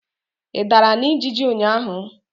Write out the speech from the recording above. Ị dara na ijiji ụnyaahụ?